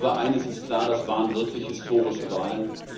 Aber eines ist klar Das waren wirklich historische Wahlen.